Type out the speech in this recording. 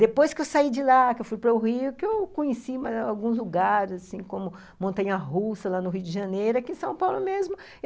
Depois que eu saí de lá, que eu fui para o Rio, que eu conheci alguns lugares, como Montanha-Russa, lá no Rio de Janeiro, aqui em São Paulo mesmo.